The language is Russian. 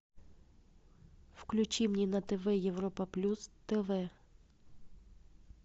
включи мне на тв европа плюс тв